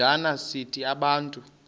njana sithi bantu